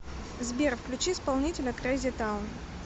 сбер включи исполнителя крейзи таун